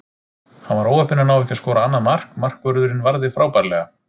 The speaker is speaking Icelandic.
Hann var óheppinn að ná ekki að skora annað mark, markvörðurinn varði frábærlega.